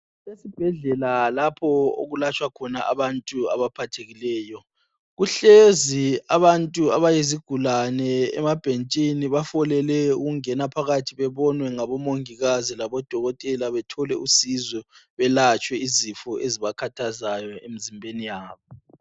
Esibhedlela lapho okulatshwa khona abantu abaphathekileyo kuhlezi abantu abayizigulani emabhentshini bafolele ukungena phakathi bebonwe ngabo mangikazi labo dokotela bethole usizo belatshwe izifo ezibakhathaza emzimbeni wabo.